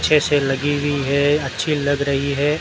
अच्छे से लगी हुई है अच्छी लग रही है।